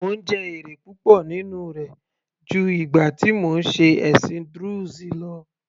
Mò ń jẹ èrè púpọ̀ nínú rẹ̀ ju ìgbà tí mò ń ṣe ẹ̀sìn druze lọ